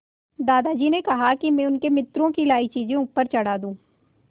दादाजी ने कहा कि मैं उनके मित्रों की लाई चीज़ें ऊपर चढ़ा दूँ